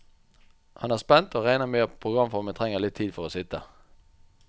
Han er spent, og regner med at programformen trenger litt tid for å sitte.